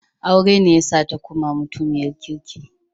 Aure ne yasa ta koma mutiniyar kirki.